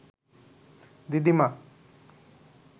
দিদিমা